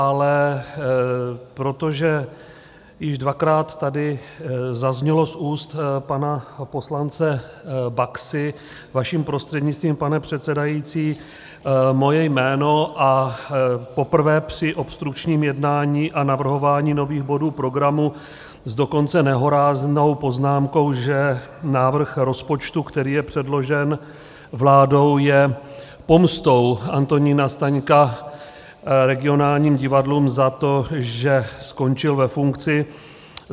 Ale protože již dvakrát tady zaznělo z úst pana poslance Baxy vaším prostřednictvím, pane předsedající, moje jméno, a poprvé při obstrukčním jednání a navrhování nových bodů programu s dokonce nehoráznou poznámkou, že návrh rozpočtu, který je předložen vládou, je pomstou Antonína Staňka regionálním divadlům za to, že skončil ve funkci.